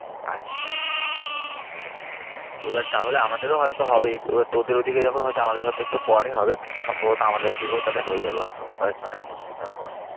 আচ্ছা আচ্ছা আচ্ছা এবার তাহলে আমাদের ও হয়েত হবে এবার, তোদের ঐ দিকে যখন হয়েছে আমাদের হয়েত একটু পরে হবে কিন্তু সম্ভবত আমাদের এই দিকেও তাহলে হয়ে যাবে হয়তো কয়েক মাসের মধ্যেই তারপরে।